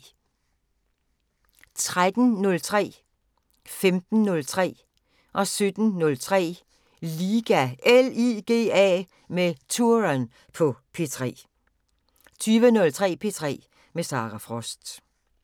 13:03: LIGA med Touren på P3 15:03: LIGA med Touren på P3 17:03: LIGA med Touren på P3 20:03: P3 med Sara Frost